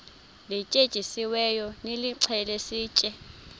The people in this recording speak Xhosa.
lityetyisiweyo nilixhele sitye